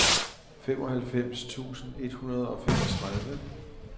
femoghalvfems tusind et hundrede og femogtredive